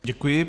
Děkuji.